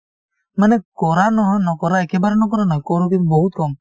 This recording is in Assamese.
মানে কৰা নহয় নকৰায়ে কেবাৰনো কৰে নকৰো কিন্তু বহুত কম